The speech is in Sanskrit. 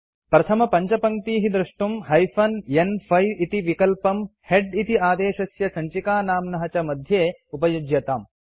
प्रथमपञ्चपङ्क्तीः द्रष्टुं हाइफेन न्5 इति विकल्पम् हेड इति आदेशस्य सञ्चिकानाम्नः च मध्ये उपयुज्यताम्